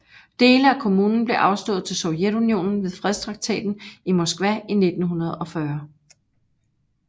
Dele af kommunen blev afstået til Sovjetunionen ved Fredstraktaten i Moskva i 1940